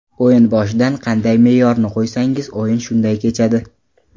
O‘yin boshidan qanday me’yorni qo‘ysangiz, o‘yin shunday kechadi.